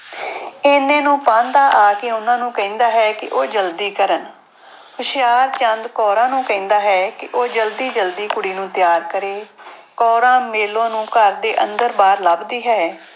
ਇੰਨੇ ਨੂੰ ਪਾਂਧਾ ਆ ਕੇ ਉਹਨਾਂ ਨੂੂੰ ਕਹਿੰਦਾ ਹੈ ਕਿ ਉਹ ਜ਼ਲਦੀ ਕਰਨ, ਹੁਸ਼ਿਆਰਚੰਦ ਕੌਰਾਂ ਨੂੰ ਕਹਿੰਦਾ ਹੈ ਕਿ ਉਹ ਜ਼ਲਦੀ ਜ਼ਲਦੀ ਕੁੜੀ ਨੂੰ ਤਿਆਰ ਕਰੇ ਕੌਰਾਂ ਮੇਲੋ ਨੂੰ ਘਰ ਦੇ ਅੰਦਰ ਬਾਹਰ ਲੱਭਦੀ ਹੈ।